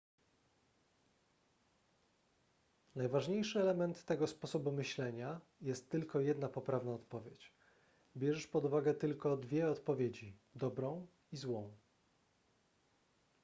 najważniejszy element tego sposobu myślenia jest tylko jedna poprawna odpowiedź bierzesz pod uwagę tylko dwie odpowiedzi dobrą i złą